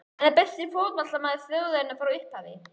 En er hann besti fótboltamaður þjóðarinnar frá upphafi?